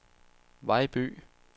Vejby